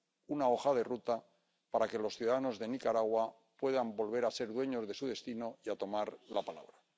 una hoja de ruta para que los ciudadanos de Nicaragua puedan volver a ser dueños de su destino y a tomar la palabra.